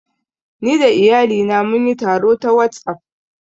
Ni da iyalina mun yi taro ta WhatsApp